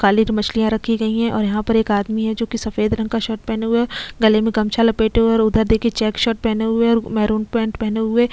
काली जो मछलियां रखी गई है और यहाँ पर एक आदमी है जो की सफेद रंग का शर्ट पहने हुए है और गले में गमछा लपेटे हैं और उधर देखिए चेक शर्ट पहने हुए और मैरून पेंट पहने हुए--